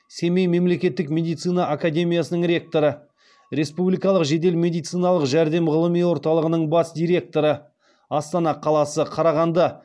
семей мемлекеттік медицина академиясының ректоры республикалық жедел медициналық жәрдем ғылыми орталығының бас директоры астана қаласы қарағанды